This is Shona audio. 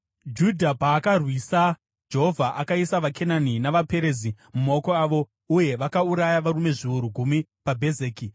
Judha paakarwisa, Jehovha akaisa vaKenani navaPerizi mumaoko avo uye vakauraya varume zviuru gumi paBhezeki.